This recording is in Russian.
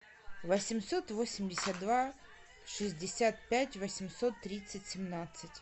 восемьсот восемьдесят два шестьдесят пять восемьсот тридцать семнадцать